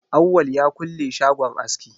Awwal ya kulle shagon aski.